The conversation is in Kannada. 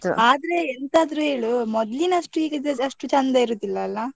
ಆದ್ರೆ ಎಂತಾದ್ರೂ ಹೇಳು ಮೊದಲಿನಷ್ಟು ಈಗಿದ್ದು ಅಷ್ಟು ಚೆಂದ ಇರುದಿಲ್ಲ ಅಲ್ಲಾ.